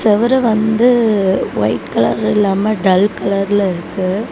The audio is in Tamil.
செவுரு வந்து ஒயிட் கலர் இல்லாம டல் கலர்ல இருக்கு.